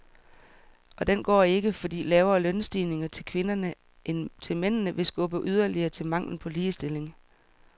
Og den går ikke, fordi lavere lønstigninger til kvinderne end til mændene vil skubbe yderligere til manglen på ligestilling.